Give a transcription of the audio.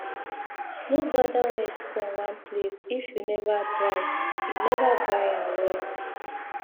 no gather wet corn one place if you never dry you never dry am well